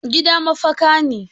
Gida mafaka ne.